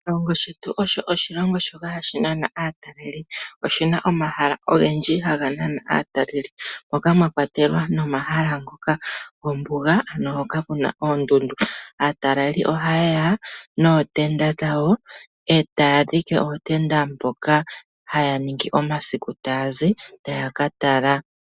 Oshilongo shetu osho oshilongo shoka hashi nana aatalelipo. Oshi na omahala ogendji haga nana aatalelipo, moka mwa kwatelwa nomahala ngoka gombuga, ano hoka ku na oondundu. Aatalelipo oha ya nootenda dhawo e taya dhike ootenda mpoka haya ningi omasiku taya zi taya ka tala.